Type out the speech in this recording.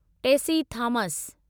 Tessy Thomas